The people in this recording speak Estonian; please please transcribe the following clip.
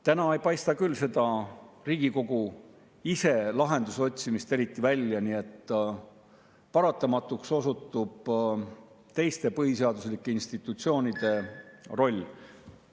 Täna ei paista küll seda Riigikogu ise lahenduse otsimist eriti välja, nii et paratamatuks osutub teiste põhiseaduslike institutsioonide roll.